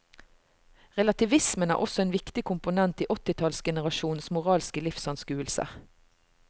Relativismen er også en viktig komponent i åttitallsgenerasjonens moralske livsanskuelse.